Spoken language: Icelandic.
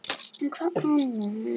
hermdi hún eftir mömmu sinni.